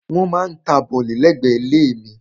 Wọ́n maá ta bọ̀lì lẹ́gbẹ̀ẹ́ ilé mi.